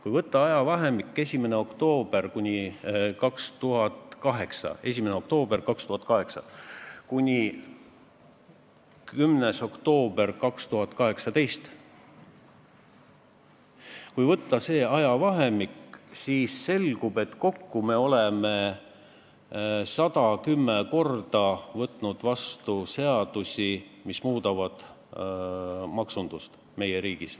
Kui võtta ajavahemik 1. oktoober 2008 kuni 10. oktoober 2018, siis selgub, et selle aja jooksul oleme me kokku 110 korral võtnud vastu seadusi, mis muudavad maksundust meie riigis.